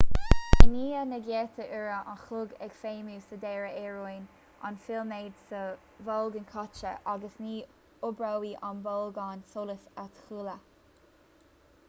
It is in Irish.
i ndiaidh na gcéadta uair an chloig ag feidhmiú sa deireadh éiríonn an filiméad sa bholgán caite agus ní oibreoidh an bolgán solais a thuilleadh